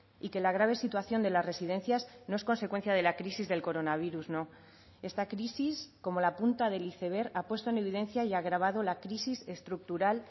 y que la grave situación de las residencias no es consecuencia de la crisis del coronavirus no esta crisis como la punta del iceberg ha puesto en evidencia y ha agravado la crisis estructural